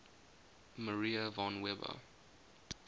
maria von weber